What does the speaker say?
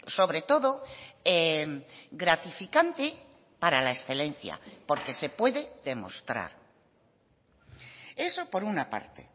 sobre todo gratificante para la excelencia porque se puede demostrar eso por una parte